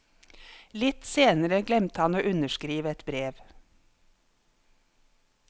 Litt senere glemte han å underskrive et brev.